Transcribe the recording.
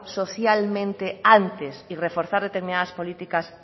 socialmente antes y reforzar determinadas políticas